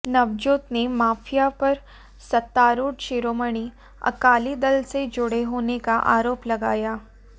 नवजोत ने माफिया पर सत्तारूढ़ शिरोमणि अकाली दल से जुड़े होने का आरोप लगाया